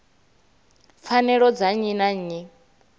pfanelo dza nnyi na nnyi